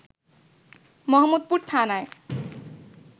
মোহাম্মদপুর থানায়